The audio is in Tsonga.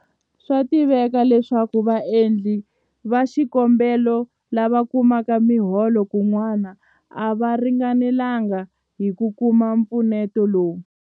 Swa tiveka leswaku vaendli va xikombelo lava kumaka miholo kun'wana a va ringanelanga hi ku kuma mpfuneto lowu.